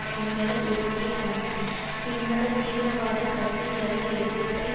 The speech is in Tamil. சிங்கள உறுமய போன்ற சிங்கள தீவிரவாத கட்சிகளது எதிர்ப்பை